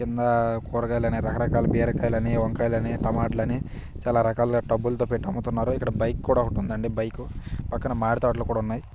కింద కూరగాయల్ని రకరకాల బీరకాయలని వంకాయలని టమోటాలని చాలా రకాలతో టబ్బు లతో పెట్టి అమ్ముతున్నారు ఇక్కడ బైక్ కూడా ఒకటి ఉందండి బైకు పక్కన మామిడి తోటలు కూడా ఉన్నాయి.